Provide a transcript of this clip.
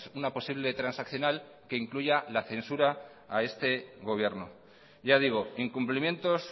una posible transaccional que incluya la censura a este gobierno ya digo incumplimientos